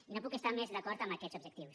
i no puc estar més d’acord amb aquests objectius